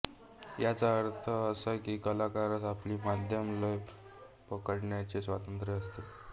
याचा अर्थ असा की कलाकारास आपली मध्यम लय पकडण्याचे स्वातंत्र्य असते